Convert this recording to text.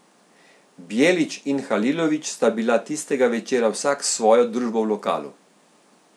Bjelić in Halilović sta bila tistega večera vsak s svojo družbo v lokalu.